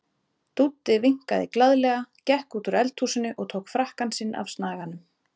Dúddi vinkaði glaðlega, gekk út úr eldhúsinu og tók frakkann sinn af snaganum.